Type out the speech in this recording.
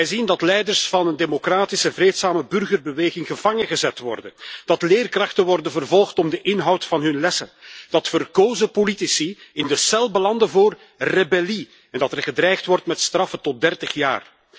Zij zien dat leiders van een democratische, vreedzame burgerbeweging gevangengezet worden, dat leerkrachten worden vervolgd om de inhoud van hun lessen, dat verkozen politici in de cel belanden voor rebellie en dat er gedreigd wordt met straffen tot 30 jaar.